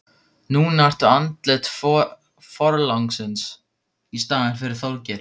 Núna ertu andlit forlagsins í staðinn fyrir Þorgeir.